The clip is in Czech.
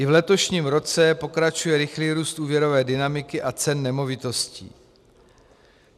I v letošním roce pokračuje rychlý růst úvěrové dynamiky a cen nemovitostí.